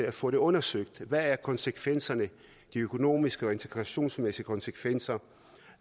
at få det undersøgt hvad er konsekvenserne de økonomiske og integrationsmæssige konsekvenser